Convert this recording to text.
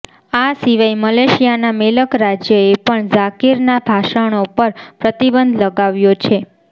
આ સિવાય મલેશિયાના મેલક રાજ્ય એ પણ ઝાકિરના ભાષણો પર પ્રતિબંધ લગાવ્યો છે